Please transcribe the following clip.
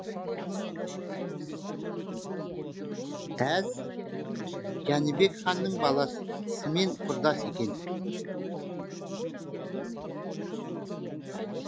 әз жәнібек ханның баласымен құрдас екен